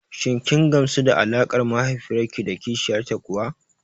Shin kin gamsu da alaƙar mahaifiyar ki da kishiyar ta kuwa?